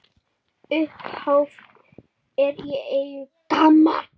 Upphaf er í eigu GAMMA.